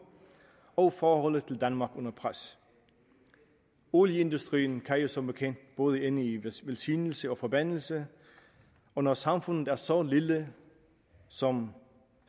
og forholdet til danmark under pres olieindustrien kan jo som bekendt både ende i velsignelse og forbandelse og når samfundet er så lille som